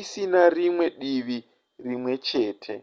isina rimwe divi rimwe chete